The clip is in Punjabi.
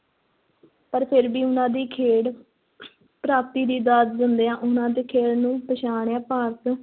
ਪਰ ਫਿਰ ਵੀ ਉਹਨਾਂ ਦੀ ਖੇਡ ਪ੍ਰਾਪਤੀ ਦੀ ਦਾਦ ਦਿੰਦਿਆਂ, ਉਹਨਾਂ ਦੇ ਖੇਡ ਨੂੰ ਪਛਾਣਿਆ ਭਾਰਤ,